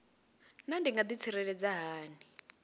naa ndi nga ḓitsireledza hani